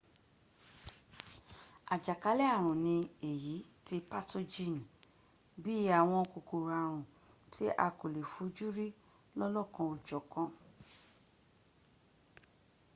àjàkálẹ̀ ààrùn ní èyí tí pátójìnì bí í àwọn kòkòrò ààrun tí a kò lè fojúrí lọ́lọ́kan ò jọ̀ka